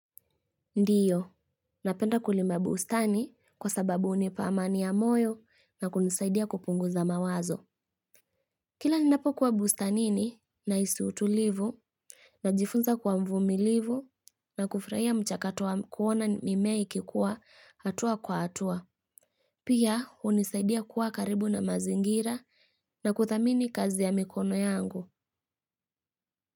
Ndiyo, napenda kulima bustani kwa sababu unipa amani ya moyo na kunisaidia kupunguza mawazo. Kila ninapokuwa bustanini naisi utulivu najifunza kuwa mvumilivu na kufraia mchakato wa kuona mimea ikikuwa hatua kwa hatua. Pia unisaidia kuwa karibu na mazingira na kuthamini kazi ya mikono yangu.